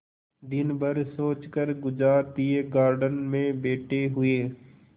दिन भर सोचकर गुजार दिएगार्डन में बैठे हुए